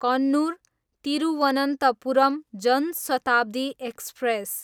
Kannur, Thiruvananthapuram Jan Shatabdi express